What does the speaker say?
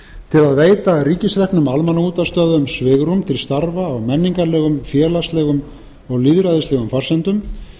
að veita ríkisreknum almannaútvarpsstöðvum svigrúm til starfa á menningarlegum félagslegum og lýðræðislegum forsendum